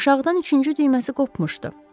Aşağıdan üçüncü düyməsi qopmuşdu.